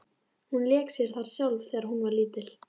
Hún lék sér þar sjálf þegar hún var lítil.